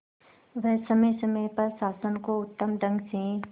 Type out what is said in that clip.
वह समय समय पर शासन को उत्तम ढंग से